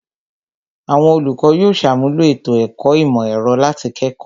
Àwọn olùkọ́ yóò ṣàmúlò ètò ẹ̀kọ́ ìmọ̀ ẹ̀rọ láti kẹ́kọ̀ọ́